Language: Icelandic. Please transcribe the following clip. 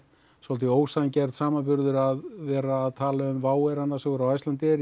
svolítið ósanngjarn samanburður að vera að tala um air annars vegar og Icelandair